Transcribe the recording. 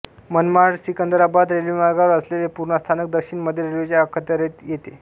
मनमाडसिकंदराबाद रेल्वेमार्गावर असलेले पुर्णा स्थानक दक्षिण मध्य रेल्वेच्या अखत्यारीत येते